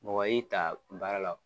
Mɔgɔ y'i ta baara la o